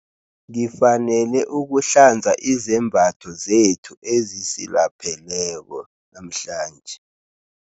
Ngifanele ukuhlanza izembatho zethu ezisilapheleko namhlanje.